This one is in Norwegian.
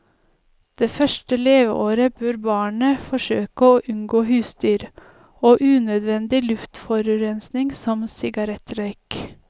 Det første leveåret bør barnet forsøke å unngå husdyr, og unødvendig luftforurensning som sigarettrøyk.